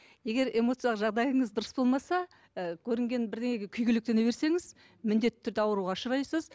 егер эмоциялық жағдайыңыз дұрыс болмаса ы көрінген бірдеңеге күйгелектене берсеңіз міндетті түрде ауруға ұшырайсыз